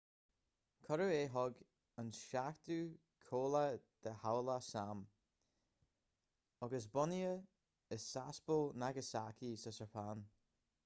cuireadh é chuig an seachtú cabhlach de chabhlach s.a.m. agus bunaithe i sasebo nagasaki sa tseapáin